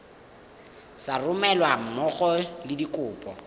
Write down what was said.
sa romelweng mmogo le dikopo